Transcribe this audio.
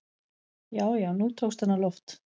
Já, já, nú tókst hann á loft!